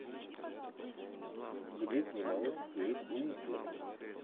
где снималась кейт уинслет